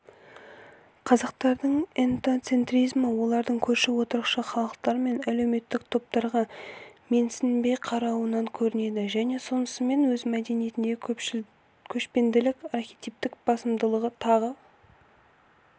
қазақтардың этноцентризмі олардың көрші отырықшы халықтар мен әлеуметтік топтарға менсінбей қарауынан көрінеді және сонысымен өз мәдениетіндегі көшпенділік архетиптің басымдылығы тағы